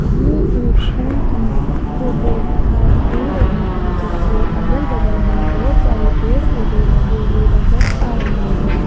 ये एक पुल की फोटो दिखाई दे रही है जिसके अगल बगल में बहोत सारे पेड़ पौधे लगे हुए नजर आ रहे हैं।